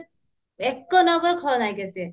ଏକ number ଖଳନାୟିକା ସେ